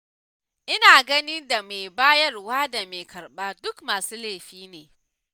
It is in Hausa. Ina ganin da mai bayarwar da mai karɓar duk masu laifi ne.